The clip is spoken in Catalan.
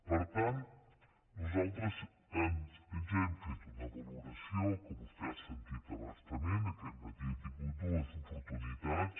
per tant nosaltres ja hem fet una valoració que vostè ha sentit a bastament aquest matí n’ha tingut dues oportunitats